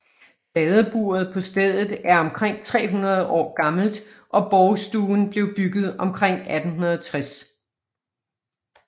Fadeburet på stedet er omkring 300 år gammelt og Borgstuen blev bygget omkring 1860